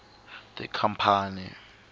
tikhampani